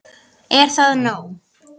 Er það nóg?